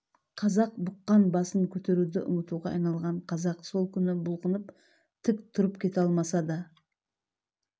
қазақ бұққан басын көтеруді ұмытуға айналған қазақ сол күні бұлқынып тік тұрып кете алмаса да